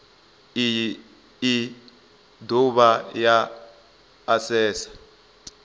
iyi i dovha ya asesa